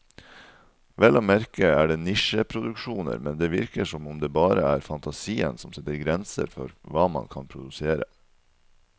Vel å merke er det nisjeproduksjoner, men det virker som om det bare er fantasien som setter grenser for hva man kan produsere.